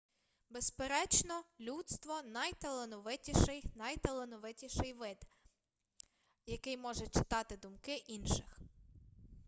безперечно людство найталановитіший найталановитіший вид який може читати думки інших